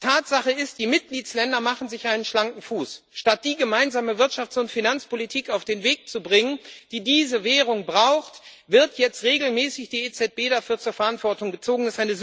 Tatsache ist, die Mitgliedstaaten machen sich einen schlanken Fuß. Statt die gemeinsame Wirtschafts und Finanzpolitik auf den Weg zu bringen, die diese Währung braucht, wird jetzt regelmäßig die EZB dafür zur Verantwortung gezogen.